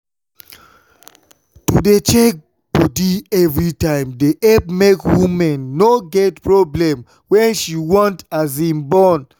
to dey check bodi everytime dey epp make woman no get problem wen she want born.